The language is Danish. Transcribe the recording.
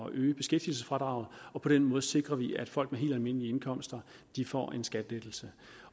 at øge beskæftigelsesfradraget og på den måde sikrer vi at folk med helt almindelige indkomster får en skattelettelse